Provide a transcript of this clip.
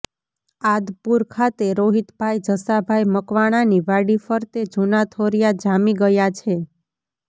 આદપુર ખાતે રોહિતભાઈ જસાભાઈ મકવાણાની વાડી ફરતે જુના થોરીયા જામી ગયા છે